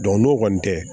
n'o kɔni tɛ